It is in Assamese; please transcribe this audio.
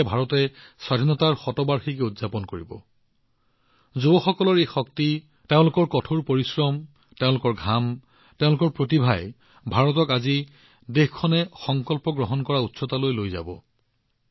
যেতিয়া ভাৰতে স্বাধীনতাৰ শতবাৰ্ষিকী উদযাপন কৰিব যুৱশক্তিয়ে তেওঁলোকৰ কঠোৰ পৰিশ্ৰম তেওঁলোকৰ ঘাম তেওঁলোকৰ প্ৰতিভাৰ দ্বাৰা ভাৰতক আজি দেশখনে সমাধান কৰি থকা উচ্চতালৈ লৈ যাব